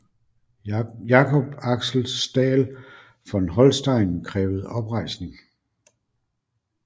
Jacob Axel Staël von Holstein krævede oprejsning